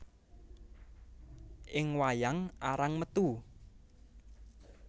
Ing wayang arang metu